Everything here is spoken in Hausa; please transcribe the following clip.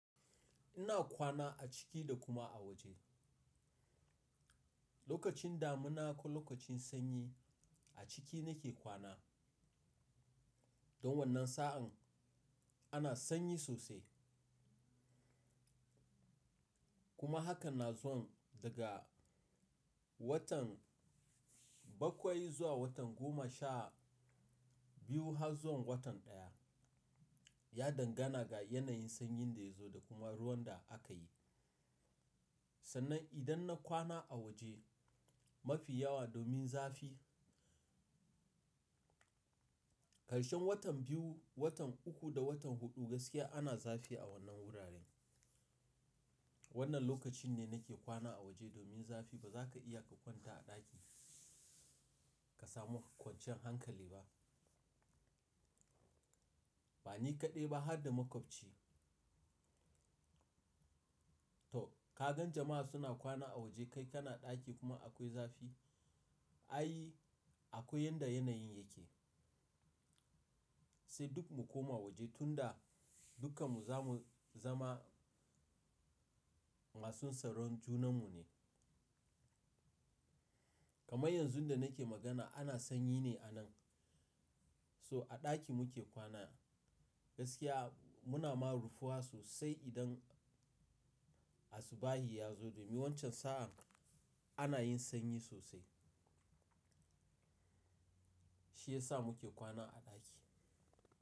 Ina kwana a ciki da kuma a waje. Lokacin damina ko lokacin sanyi a ciki nake kwana. Don wannan sa'an ana sanyi sosai. Kuma hakan na zuwan daga watan bakwai zuwa watan goma sha biyu har zuwan watan ɗaya. Ya dangana ga yanayin sanyin da ya zo da kuma ruwan da aka yi. Sannan idan na kwana a waje mafi yawa domin zafi, ƙarshen watan biyu, watan uku da watan huɗu gaskiya ana zafi a wannan wuraren. Wannan lokacin ne nake kwana a waje domin zafi ba za ka iya ka kwanta a ɗaki ka samu kwanciyan hankali ba. Ba ni kaɗai ba har da makwabci. To ka gan jama'a suna kwana a waje kai kana ɗaki kuma akwai zafi? Ai akwai yadda yanayin yake. Sai duk mu koma waje tunda dukkan mu za mu zama masu tsaron junanmu ne. Kamar yanzu da nake magana ana sanyi ne anan. So a ɗaki muke kwana gaskiya muna ma rufuwa sosai idan asubahin ya zo domin wancan sa'an ana yin sanyi sosai. Shi ya sa muke kwana a ɗaki.